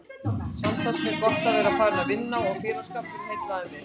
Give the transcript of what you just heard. Samt fannst mér gott að vera farin að vinna og félagsskapurinn heillaði mig.